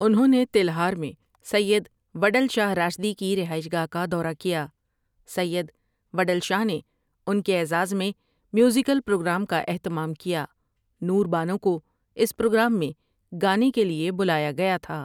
انہوں نے تلہار میں سید وڈل شاہ راشدی کی رہائش گاہ کا دورہ کیا سید وڈل شاہ نے ان کے اعزاز میں میوزیکل پروگرام کا اہتمام کیا نور بانو کو اس پروگرام میں گانے کے لیے بلایا گیا تھا ۔